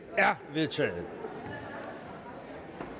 vedtaget